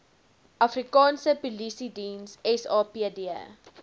afrikaanse polisiediens sapd